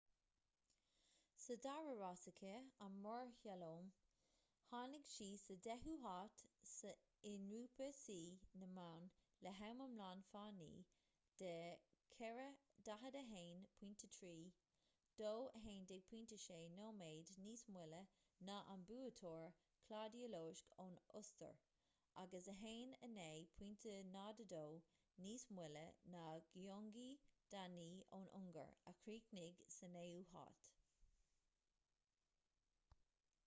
sa dara rás aici an mórshlalóm tháinig sí sa deichiú háit i ngrúpa suí na mban le ham iomlán fánaí de 4:41.30 2:11.60 nóiméad níos moille ná an buaiteoir claudia loesch ón ostair agus 1:09.02 níos moille ná gyöngyi dani ón ungáir a chríochnaigh sa naoú háit